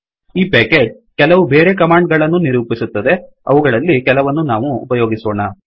ಈ ಪೇಕೇಜ್ ಕೆಲವು ಬೇರೆ ಕಮಾಂಡ್ ಗಳನ್ನೂ ನಿರೂಪಿಸುತ್ತದೆ ಅವುಗಳಲ್ಲಿ ಕೆಲವನ್ನು ನಾವು ಉಪಯೋಗಿಸೋಣ